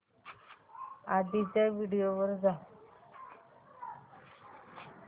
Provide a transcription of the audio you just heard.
आधीच्या व्हिडिओ वर जा